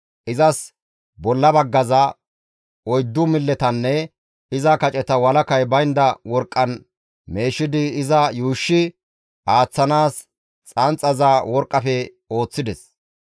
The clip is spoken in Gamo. Izas bolla baggaza, oyddu milletanne iza kaceta walakay baynda worqqan meeshidi iza yuushshi aaththanaas xanxaza worqqafe ooththides.